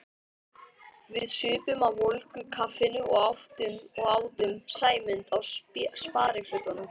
Við supum á volgu kaffinu og átum Sæmund á sparifötunum.